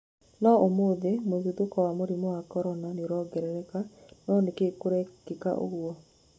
No ũthome: mũtuthũko wa mũrimũ wa Korona nĩũrongereka, no nĩkĩ kũrekĩka ũgũo?